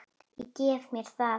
Ég gef mér það.